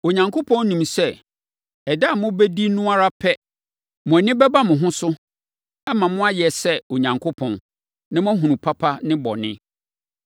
Onyankopɔn nim sɛ, ɛda a mobɛdi no ara pɛ, mo ani bɛba mo ho so, ama moayɛ sɛ Onyankopɔn, na moahunu papa ne bɔne.”